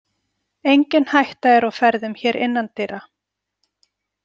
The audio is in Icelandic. Engin hætta er á ferðum hér innan dyra.